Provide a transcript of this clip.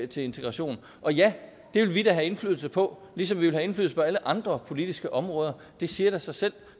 til integration og ja det vil vi da have indflydelse på ligesom vi vil have på alle andre politiske områder det siger da sig selv